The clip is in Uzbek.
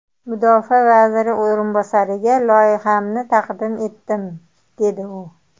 Mudofaa vaziri o‘rinbosariga loyihamni taqdim etdim, deydi u.